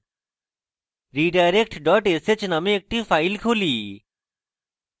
redirect dot sh named একটি file খুলি